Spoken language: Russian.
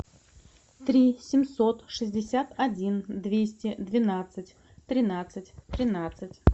три семьсот шестьдесят один двести двенадцать тринадцать тринадцать